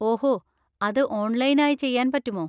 ഓഹോ, അത് ഓൺലൈൻ ആയി ചെയ്യാൻ പറ്റുമോ?